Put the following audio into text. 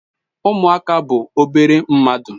Umuaka bu obere mmadu